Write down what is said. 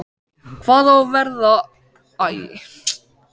Hvað á að verða af krossinum?